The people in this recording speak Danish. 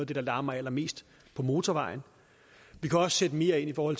det der larmer allermest på motorvejen vi kan også sætte mere ind for